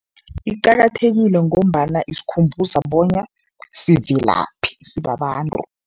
Iqakathekile ngombana isikhumbuza bona sivelaphi sibabantu.